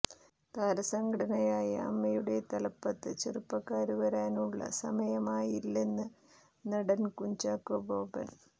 താരസംഘടനയായ അമ്മയുടെ തലപ്പത്ത് ചെറുപ്പക്കാര് വരാനുള്ള സമയമായില്ലെന്ന് നടന് കുഞ്ചാക്കോ ബോബന്